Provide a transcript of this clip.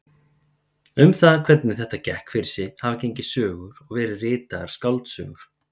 Um það hvernig þetta gekk fyrir sig hafa gengið sögur og verið ritaðar skáldsögur.